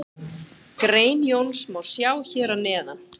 Grein Jóns má sjá hér að neðan.